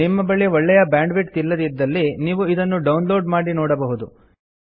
ನಿಮ್ಮ ಬಳಿ ಒಳ್ಳೆಯ ಬ್ಯಾಂಡ್ವಿಡ್ತ್ ಇಲ್ಲದಿದ್ದಲ್ಲಿ ನೀವು ಡೌನ್ಲೋಡ್ ಮಾಡಿಕೊಂಡು ನೋಡಬಹುದು